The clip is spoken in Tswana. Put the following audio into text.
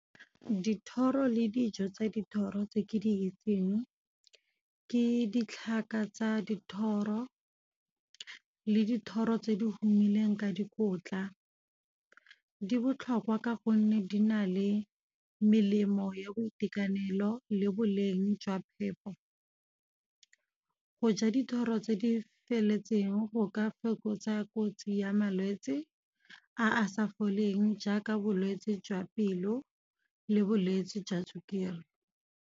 Dithoro le dijo tsa dithoro tse ke di itseng. Ke ditlhaka tsa dithoro le dithoro tse di humileng ka dikotla, di botlhokwa ka gonne di na le melemo ya boitekanelo le boleng jwa phepo. Go ja dithoro tse di feleletseng go ka fokotsa kotsi ya malwetsi, a a sa foleng jaaka bolwetsi jwa pelo le bolwetsi jwa sukiri.